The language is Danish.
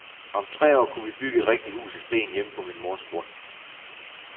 Om tre år kunne vi bygge et rigtigt hus af sten hjemme på min mors grund.